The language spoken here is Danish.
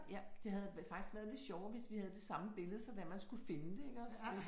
Ja. Det havde faktisk været lidt sjovere, hvis vi havde det samme billede så være man skulle finde det iggås